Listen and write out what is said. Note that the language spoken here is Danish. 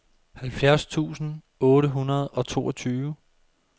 halvfjerds tusind otte hundrede og toogtyve